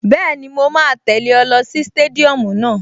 Bẹ́ẹ̀ni, mo máa tẹ̀lẹ́ ọ lọ sí stadium náà